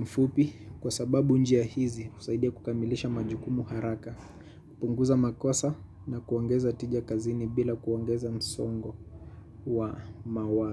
mfupi. Kwa sababu njia hizi usaidia kukamilisha majukumu haraka. Kupunguza makosa na kuongeza tija kazini bila kuongeza msongo wa mawa.